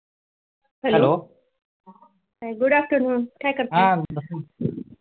good afternoon काय करताय?